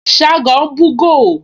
Ṣágo ń búgò